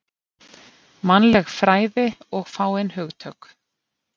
Mannleg fræði og fáein hugtök